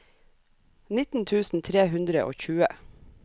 nitten tusen tre hundre og tjue